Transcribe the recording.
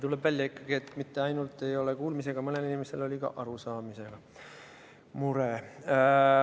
Tuleb ikkagi välja, et mitte ainult kuulmisega, vaid arusaamisega on mõnel inimesel mure.